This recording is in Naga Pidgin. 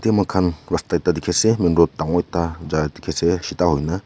moikhan rasta ekta dikhi ase main road dangor ekta jaa dikhi ase shida hoina.